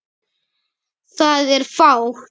Það er fátt.